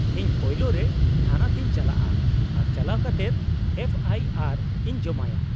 -ᱤᱧ ᱯᱳᱭᱞᱳ ᱨᱮ ᱛᱷᱟᱱᱟ ᱛᱮᱧ ᱪᱟᱞᱟᱜᱼᱟ, ᱟᱨ ᱪᱟᱞᱟᱣ ᱠᱟᱛᱮᱫ ᱮᱯᱷᱚ ᱟᱭ ᱟᱨ ᱤᱧ ᱡᱚᱢᱟᱭᱟ ᱾